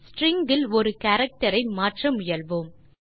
string இல் ஒரு character ஐ மாற்ற முயல்வோம்